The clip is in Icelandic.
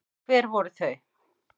Hver voru þau?